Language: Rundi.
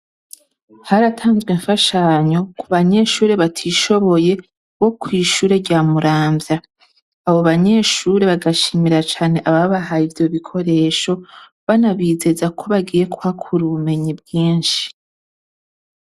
Haratanzwe imfashanyo kubanyeshure batishoboye kw’ishure rya muramvya, abo banyeshure bagashimira cane ababahaye ivyo bikoresho banabizeza ko bagiye kuhakura ubumenyi bwinshi.